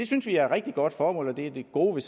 synes det er et rigtig godt formål og det er det gode